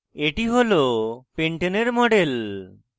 এটি হল pentane pentane এর model